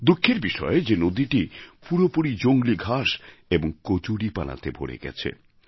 দুঃখের বিষয় যে নদীটি পুরোপুরি জংলি ঘাস এবং কচুরিপানাতে ভরে গেছে